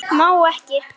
Má ekki.